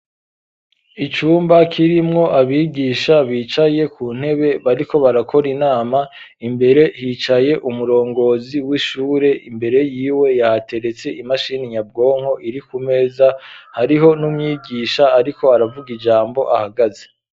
Icumba kirimwo abigisha bicaye ku ntebe bariko barakora inama imbere hicaye umurongozi w'ishure imbere yiwe yahateretse imashini nyabwonko iri ku meza hariho n'umyigisha ariko aravuga ijambo ahagaze